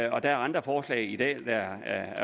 og der er andre forslag i dag der